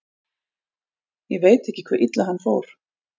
Ég veit ekki hve illa hann fór.